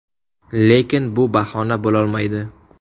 Lekin bu bahona bo‘lolmaydi.